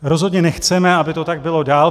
Rozhodně nechceme, aby to tak bylo dál.